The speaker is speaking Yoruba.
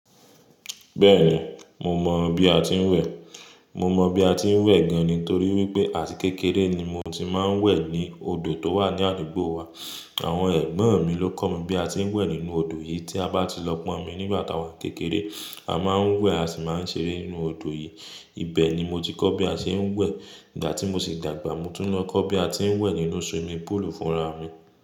Bẹ́ẹ̀ni, mo mọ bí a ti ń wẹ̀. Mo mọ bí a ti ń wẹ̀ gan-an nítorí wípé àti kékeré ni mo ti máa ń wẹ̀ ní odò tó wà ní àdúgbò wa. Àwọn ẹ̀gbọ́n mi ló kọ́ mi bí a ti ń wẹ̀ nínú odò yìí tí a bá ti lọ pọ́nmi nígbà táa wá kékeré. A máa ń wẹ̀, a sì máa ń ṣeré nínú odò yìí. Ibẹ̀ ni mo ti kọ́ bí a ṣe ń wẹ̀. Ìgbà tí mo sì dàgbà mo tún lọ kọ́ bí a ti ń wẹ̀ nínú swimming pool fúnra mi.